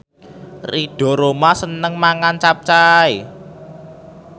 Ridho Roma seneng mangan capcay